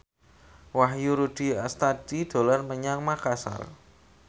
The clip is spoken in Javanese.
Wahyu Rudi Astadi dolan menyang Makasar